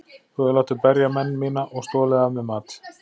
Þú hefur látið berja menn mína og stolið af mér mat.